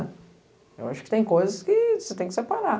Eu acho que tem coisas que você tem que separar.